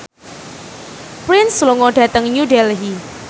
Prince lunga dhateng New Delhi